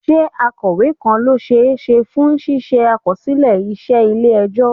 Ṣé akọ̀wé kan ló ṣe é ṣe fún ṣíṣe àkọsílẹ̀ iṣẹ́ ilé ẹjọ́?